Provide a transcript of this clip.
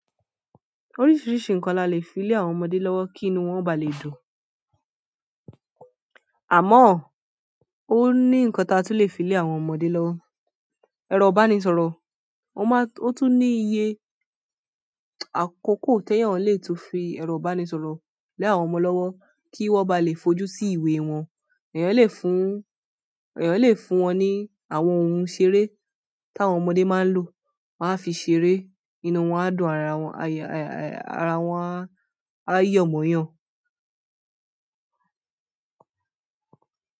Oríṣiríṣi nǹkan la lè fi lé àwọn ọmọdé lọ́wọ́ kí inú wọn ba lè dùn. Àmọ́, ó ní nǹkan ti a tún lè fi lé àwọn ọmọdé lọ́wọ́. Ẹ̀rọ ìbánisọ̀rọ̀, ó ma-- ó tún ní iye àkoko tí eeyàn le tun fi ẹ̀rọ ìbánisọ̀rọ̀ lé àwọn ọmọ lọ́wọ́ kí wọ́n ba lè fojú sí ìwé wọn. Eeyàn le fún wọn ní àwọn ohun ìṣeré táwọn ọmọdé máa ń lò, won a fi ṣeré, inú wọn á dùn, ara wọn, ara wọn á yọ̀ mọ́yàn.